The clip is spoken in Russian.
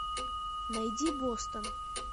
найди бостон